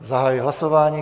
Zahajuji hlasování.